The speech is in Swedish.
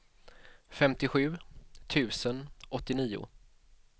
femtiosju tusen åttionio